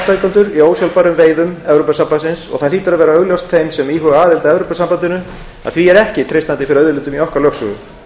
í ósjálfbærum veiðum evrópusambandsins og það hlýtur að vera augljóst þeim sem íhuga aðild að evrópusambandinu að því er ekki treystandi fyrir auðlindum í okkar lögsögu